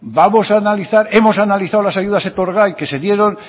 hemos analizado las ayudas etorgai que se dieron